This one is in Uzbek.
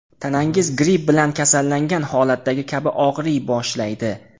Tanangiz gripp bilan kasallangan holatdagi kabi og‘riy boshlaydi.